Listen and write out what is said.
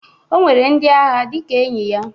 O nwere ndi agha dịka enyi ya.